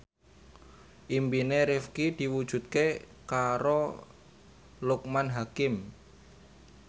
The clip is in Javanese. impine Rifqi diwujudke karo Loekman Hakim